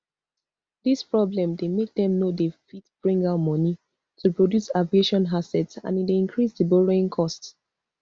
dis problem dey make dem no dey fit bring out money to produce aviation assets and e dey increase di borrowing cost